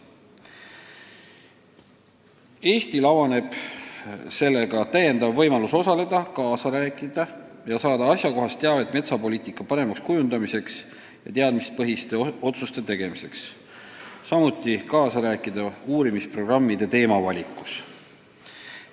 Eestile avaneb sellega täiendav võimalus osaleda metsapoliitika paremal kujundamisel ja teadmispõhiste otsuste tegemisel, kaasa rääkida uurimisprogrammide teemade valikul ning saada asjakohast teavet.